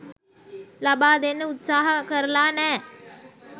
ලබා දෙන්න උත්සාහ කරලා නෑ.